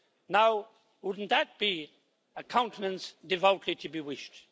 Now wouldn't that be a countenance devoutly to be wished?